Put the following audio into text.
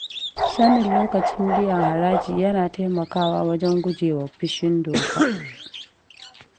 Sanin lokacin biyan haraji yana taimakawa wajen guje wa fushin doka.